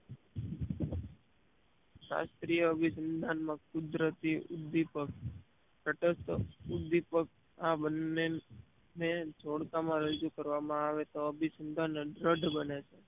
શાસ્ત્રીયતા અભિસંધાન માં કુદરતી ઉદીપક તટસ્ત ઉદીપક આ બંને ને જોડતા માં રજુ કરવામાં આવે છે તો અભિસંધાન દ્રડ બને છે